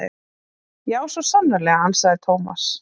Já, svo sannarlega ansaði Thomas.